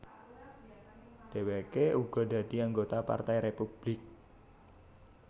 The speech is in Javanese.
Dhèwèké uga dadi anggota Partai Républik